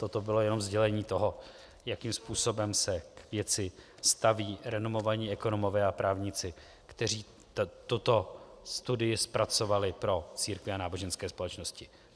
Toto bylo jenom sdělení toho, jakým způsobem se k věci staví renomovaní ekonomové a právníci, kteří tuto studii zpracovali pro církve a náboženské společnosti.